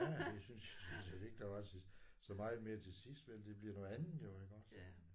Ja det synes jeg sådan set ikke der var til så meget mere til sidst vel det bliver noget andet jo iggås